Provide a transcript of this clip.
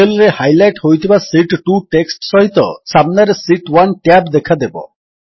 cell ରେ highlight ହୋଇଥିବା sheet 2 text ସହିତ ସାମ୍ନାରେ ଶୀତ୍ 1 ଟ୍ୟାବ୍ ଦେଖାଦେବ